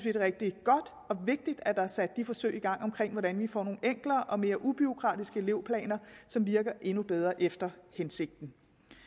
er rigtig godt og vigtigt at der er sat de forsøg i gang med hvordan vi får nogle enklere og mere ubureaukratiske elevplaner som virker endnu bedre efter hensigten